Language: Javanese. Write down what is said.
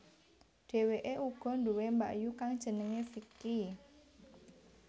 Dhèwèkè uga duwè mbakyu kang jenengè Vicky